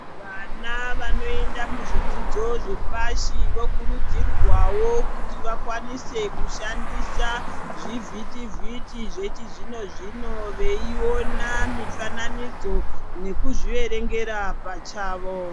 Vana vanoenda muzvidzidzo zvepashi vokur udzirwawo kuti vakwanise kushandisa zvivhiti vhiti zvechi zvino zvino, veyiwona mifananidzo neku zviverengera pachavo.